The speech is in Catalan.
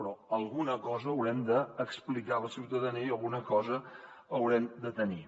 però alguna cosa haurem d’explicar a la ciutadania i alguna cosa haurem de tenir